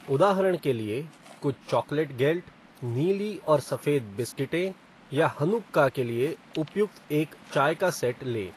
उदाहरण के लिए, कुछ चॉकलेट गेल्ट, नीली और सफेद बिस्किटें, या हनुक्का के लिए उपयुक्त एक चाय का सेट लें।